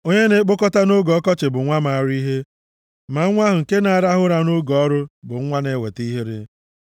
Onye na-ekpokọta nʼoge ọkọchị bụ nwa maara ihe, ma nwa ahụ nke na-arahụ ụra nʼoge ọrụ bụ nwa na-eweta ihere.